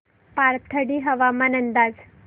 पाथर्डी हवामान अंदाज